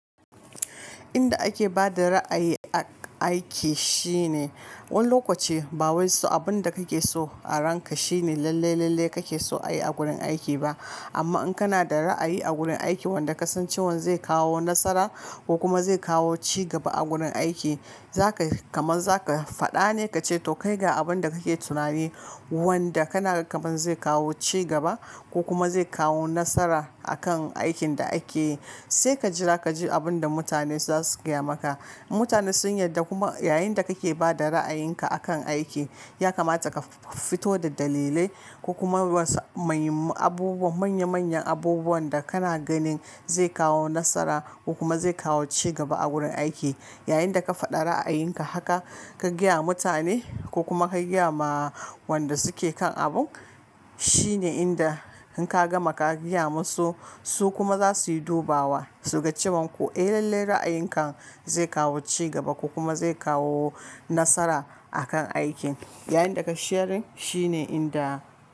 Inda ake bada ra'ayi aiki shine, wani lokaci ba wai so abin da kake so a ranka shine lalle-lalle kake so ayi a gurin aiki ba. Amma in kana da ra'ayi a gurin aiki wanda ka san cewan zai kawo nasara ko kuma zai kawo cigaba a gurin aiki, zakai kamar zaka faɗa ne kace to kai ga abin da kake tunani wanda kana kamar zai kawo cigaba ko kuma zai kawo nasara akan aikin da ake yi. Sai ka jira kaji abin da mutane za su gaya maka. Mutane sun yarda kuma yayinda kake bada ra'ayinka akan aiki, ya kamata ka fito da dalilai ko kuma wasu manya-manyan abubuwan da kana ganin zai kawo nasara ko kuma zai kawo cigaba a gurin aiki. Yayinda ka faɗa ra'ayinka haka, ka gaya wa mutane ko kuma ka gaya ma wanda suke kan abun, shine inda in ka gama ka gaya musu, su kuma za su yi dubawa. To ka cewan ko eh lalle ra'ayinka zai kawo cigaba ko kuma zai kawo nasara akan aikin. Yayinda ka shirin shine inda.